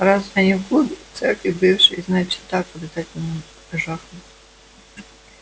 раз они в клубе в церкви бывшей значит так обязательно жахнут